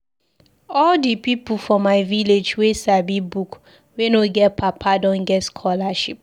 All di pipu for my village wey sabi book wey no get papa don get scholarship.